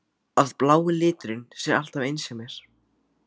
Að blái liturinn sé alltaf eins hjá mér?